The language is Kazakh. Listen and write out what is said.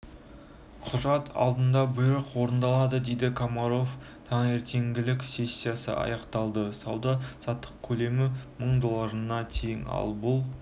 құжат алынды бұйрық орындалады дейді комаров таңертеңгілік сессиясы аяқталды сауда-саттық көлемі мың долларына тең ал бұл